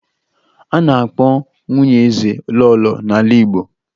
A na-akpọ nwunye eze lọọlọ n'ala Igbo